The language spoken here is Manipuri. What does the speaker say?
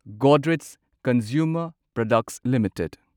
Godrej consumer products limited